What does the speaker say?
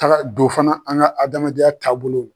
Kara don fana an ka adamadenya taabolo la